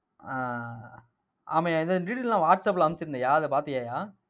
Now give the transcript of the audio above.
ஆஹ் ஆமாய்யா இந்த detail நான் வாட்ஸ்ஆப்ல அனுப்பிச்சிருந்தேன்யா அதை பார்த்தியாயா?